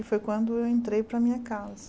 Que foi quando eu entrei para a minha casa.